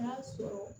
N'a sɔrɔ